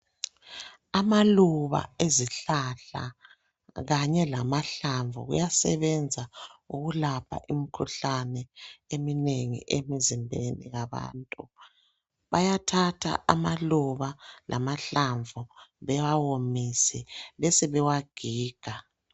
Amaluba ezihlahla, kanye lamahlamvu, kuyasebenza, ukulapha imikhuhlane eminengi, emizimbeni yabantu. Bayathatha amaluba lamahlamvu, bewawomise. Besebewagiga.